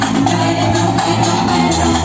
Neyləyirəm, eləyirəm.